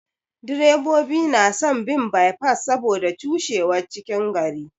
Direbobi na son bin bye pass saboda cushewar cikin gari.